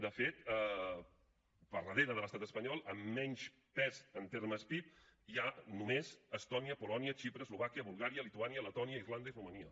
de fet per darrere de l’estat espanyol amb menys pes en termes pib hi ha només estònia polònia xipre eslovàquia bulgària lituània letònia irlanda i romania